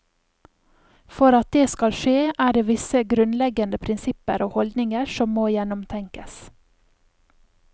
For at det skal skje, er det visse grunnleggende prinsipper og holdninger som må gjennomtenkes.